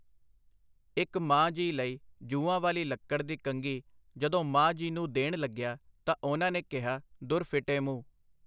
ਇੱਕ ਮਾਂ ਜੀ ਲਈ ਜੂੰਆਂ ਵਾਲੀ ਲੱਕੜ ਦੀ ਕੰਘੀ ਜਦੋਂ ਮਾਂ ਜੀ ਨੂੰ ਦੇਣ ਲੱਗਿਆ ਤਾਂ ਉਨ੍ਹਾਂ ਨੇ ਕਿਹਾ, ਦੁਰ ਫਿੱਟੇ ਮੂੰਹ.